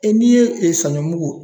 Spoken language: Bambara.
E n'i ye e saɲɔmugu